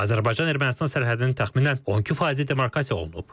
Və Azərbaycan-Ermənistan sərhədinin təxminən 12 faizi demarkasiya olunub.